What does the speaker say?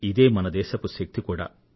ఇదే మన దేశపు శక్తి కూడా